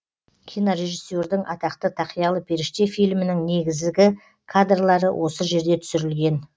кинорежиссердің атақты тақиялы періште фильмінің негізгі кадрлары осы жерде түсірілген